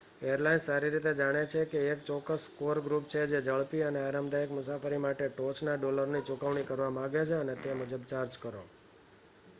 airlines સારી રીતે જાણે છે કે એક ચોક્કસ કોર ગ્રુપ છે જે ઝડપી અને આરામદાયક મુસાફરી માટે ટોચના ડોલરની ચૂકવણી કરવા માગે, અને તે મુજબ ચાર્જ કરો